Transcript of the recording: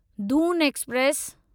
Doon express